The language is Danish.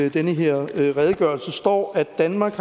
i den her redegørelse står at danmark